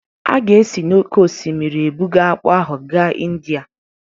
A ga-esi n'oké osimiri ebuga akpu ahụ gaa India